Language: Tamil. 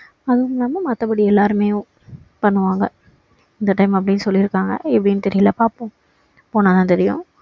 அது இல்லாம மத்தபடி எல்லாருமே பண்ணுவாங்க இந்த time அப்படின்னு சொல்லிருக்காங்க எப்படின்னு தெரியல பார்ப்போம் போனா தான் தெரியும்